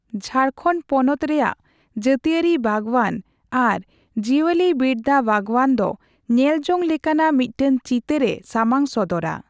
ᱡᱷᱟᱲᱠᱷᱚᱸᱰ ᱯᱚᱱᱚᱛ ᱨᱮᱭᱟᱜ ᱡᱟᱹᱛᱤᱭᱟᱹᱨᱤ ᱵᱟᱜᱽᱣᱟᱱ ᱟᱨ ᱡᱤᱭᱟᱹᱞᱤᱵᱤᱨᱫᱟᱹ ᱵᱟᱜᱽᱣᱟᱱ ᱫᱚ ᱧᱮᱞᱡᱚᱝ ᱞᱮᱠᱟᱱᱟᱜ ᱢᱤᱫᱴᱟᱱ ᱪᱤᱛᱟᱹᱨᱼᱮ ᱥᱟᱢᱟᱝ ᱥᱚᱫᱚᱨᱟ ᱾